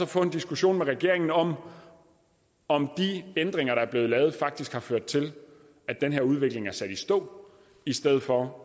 få en diskussion med regeringen om om de ændringer der er blevet lavet faktisk har ført til at den her udvikling er sat i stå i stedet for